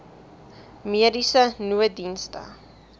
mediese nooddienste